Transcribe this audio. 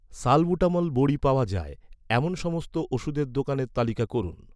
salbutamol বড়ি পাওয়া যায়, এমন সমস্ত ওষুধের দোকানের তালিকা করুন